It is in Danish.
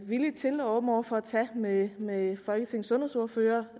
villig til og åben over for at tage med folketingets sundhedsordførere